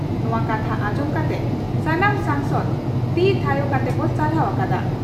ᱱᱚᱣᱟ ᱠᱟᱛᱷᱟ ᱟᱸᱡᱚᱢ ᱠᱟᱛᱮ ᱥᱟᱱᱟᱢ ᱥᱚᱝᱥᱚᱫ ᱛᱤ ᱛᱷᱟᱭᱚ ᱠᱟᱛᱮ ᱠᱚ ᱥᱟᱨᱦᱟᱣ ᱟᱠᱟᱫᱼᱟ ᱾